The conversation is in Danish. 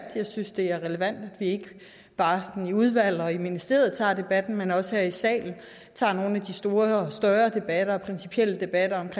jeg synes det er relevant at vi ikke bare sådan i udvalg og i ministeriet tager debatten men også her i salen tager nogle af de større debatter og principielle debatter